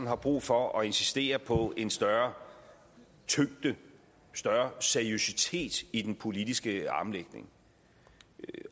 har brug for at insistere på en større tyngde en større seriøsitet i den politiske armlægning